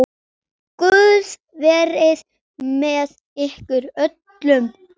Guð verið með ykkur öllum.